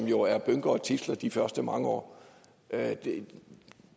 jo er bynke og tidsler i de første mange år